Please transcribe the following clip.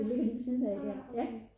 den ligger lige ved siden af der